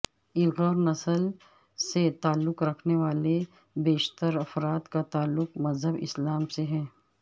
Uyghur نسل سے تعلق رکھنے والے بیشتر افراد کا تعلق مذہب اسلام سے ہے